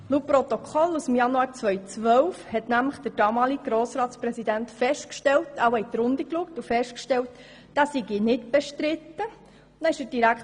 Laut Protokoll vom Januar 2012 hat nämlich der damalige Grossratspräsident festgestellt, wohl indem er in die Runde geschaut hat, dass er nicht bestritten ist.